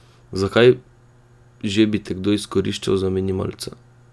Zakaj že bi te kdo izkoriščal za minimalca?